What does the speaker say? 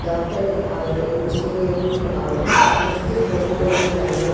ಡಾಕ್ಟರೆ ಆವಡ್ ಇಂಜಿನಿಯರಿಂಗ್ ಆವಡ್ ಮಸ್ತ್ ಪೊರ್ಲು ಪೊರ್ಲು ಕಲ್ತ್ದ್ --